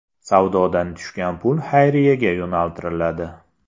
Savdodan tushgan pul xayriyaga yo‘naltiriladi.